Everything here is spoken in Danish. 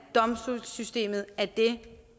domstolssystemet er det